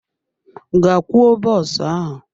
Gaa kwoo bọs ahụ!